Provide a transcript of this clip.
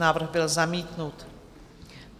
Návrh byl zamítnut.